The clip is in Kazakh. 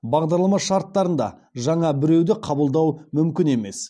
бағдарлама шарттарында жаңа біреуді қабылдау мүмкін емес